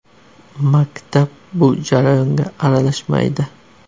Maktab bu jarayonga aralashmaydi.